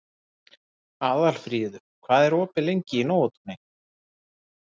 Aðalfríður, hvað er opið lengi í Nóatúni?